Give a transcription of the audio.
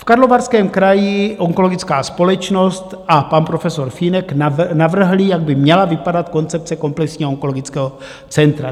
V Karlovarském kraji onkologická společnost a pan profesor Fínek navrhli, jak by měla vypadat koncepce komplexního onkologického centra.